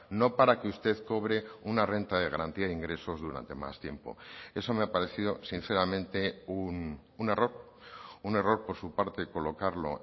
no para que usted cobre una renta de garantía de ingresos durante más tiempo eso me ha parecido sinceramente un error un error por su parte colocarlo